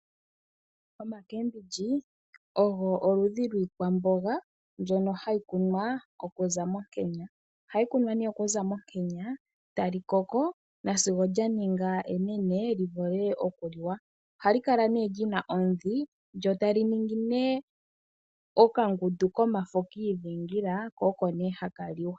Oomboga dhopashinanena odho oludhi lwiikwamboga mbyono hayi kunwa okuza monkenya. Ohayi kunwa, tayi koko, nasigo yaninga onene yivule okuliwa. Ohayi kala yina yina omidhi, yo tayi kala yina okangundu komafo ngoka haga liwa.